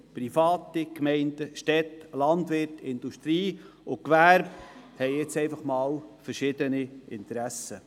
Private, Gemeinden, Städte, Landwirte, die Industrie und das Gewerbe haben nun mal unterschiedliche Interessen.